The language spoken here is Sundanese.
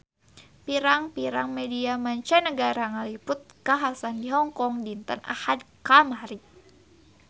Pirang-pirang media mancanagara ngaliput kakhasan di Hong Kong dinten Ahad kamari